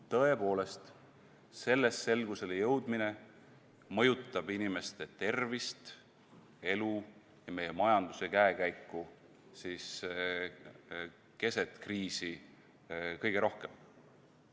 Tõepoolest, selles selgusele jõudmine mõjutab inimeste tervist, elu ja meie majanduse käekäiku keset kriisi kõige rohkem.